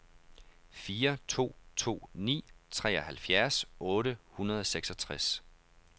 fire to to ni treoghalvfjerds otte hundrede og seksogtres